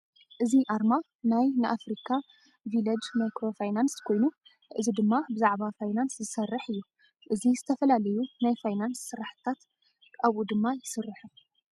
እዚ ኣርማ ናይ ንኣፍሪካ ቪለጅ ማይክሮ ፋይናንስ ኮይኑ እዚ ድማ ብዛዕባ ፋይናንስ ዝሰርሕ እዩ። እዚ ዝተፈላለዩ ናይ ፋይናንስ ስራሕሻታት ኣብኡ ድማ ይሰርሑ።